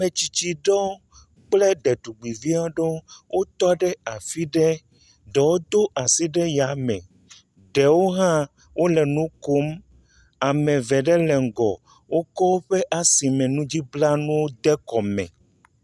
Ame tsitsi ɖewo kple Ɖetugbivi aɖe wotɔ ɖe afi ɖe. Ɖewo do asi ɖe yame. Ɖewo hã wole nu kom. Ame ve ɖe hã le ŋgɔ. Wokɔ woƒe asimenudzranuwo de kɔ.